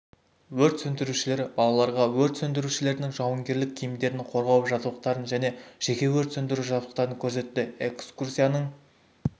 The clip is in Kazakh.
өрт сөндірушілер балаларға өрт сөндірушілердің жауынгерлік киімдерін қорғау жабдықтарын және жеке өрт сөндіру жабдықтарын көрсетті экскурсияның